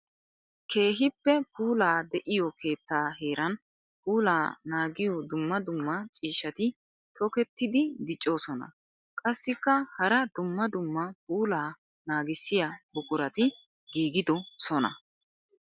Keehippe puula de'iyo keetta heeran puula naagiyo dumma dumma ciishshatti tokkettiddi diccosonna. Qassikka hara dumma dumma puula naagissiya buquratti giigidosonna.